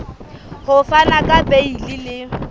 ho fana ka beile le